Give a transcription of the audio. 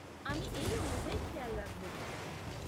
আমি এই অনুযায়ী খেয়াল রাখব।